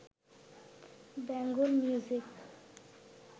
Bengal music